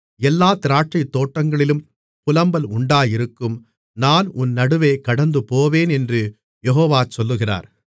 எல்லாத் திராட்சைதோட்டங்களிலும் புலம்பல் உண்டாயிருக்கும் நான் உன் நடுவே கடந்துபோவேன் என்று யெகோவா சொல்லுகிறார்